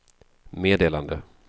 meddelande